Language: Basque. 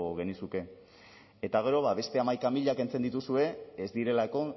genizuke eta gero beste hamaika mila kentzen dituzue ez direlako